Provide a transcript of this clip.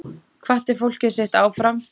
Hvatti fólkið sitt áfram.